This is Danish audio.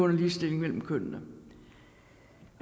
ligestilling mellem kønnene